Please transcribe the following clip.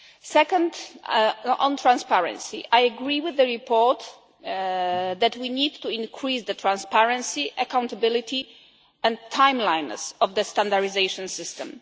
Second, on transparency, I agree with the report that we need to increase the transparency, accountability and timelines of the standardisation system.